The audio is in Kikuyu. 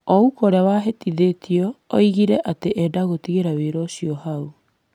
Ouko ũrĩa wahĩtithĩtio oigire atĩ endaga gũtigĩra ũhoro ũcio hau.